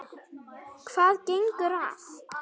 Hvað gengur að?